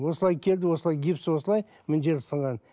осылай келді осылай гипсі осылай мына жері сынған